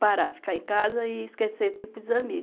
parar, ficar em casa e esquecer, tipo, os amigos.